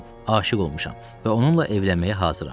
aşiq olmuşam və onunla evlənməyə hazıram.